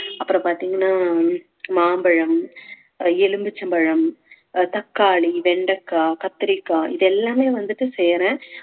அப்புறம் பார்த்தீங்கன்னா மாம்பழம், எலுமிச்சம்பழம், தக்காளி, வெண்டைக்காய், கத்தரிக்காய் இது எல்லாமே வந்துட்டு செய்யறேன்